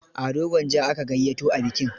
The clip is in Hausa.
Ado Gwanjo aka gayyato a bikin.